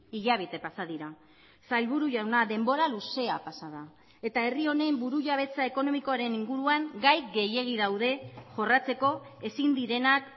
hilabete pasa dira sailburu jauna denbora luzea pasa da eta herri honen burujabetza ekonomikoaren inguruan gai gehiegi daude jorratzeko ezin direnak